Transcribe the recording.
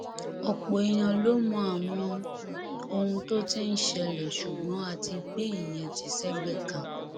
ọpọ èèyàn ló mọ àwọn ohun tó ti ń ṣẹlẹ ṣùgbọn a ti gbé ìyẹn tì sẹgbẹẹ kan